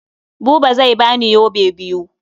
Buba zai ba ni yobe biyu.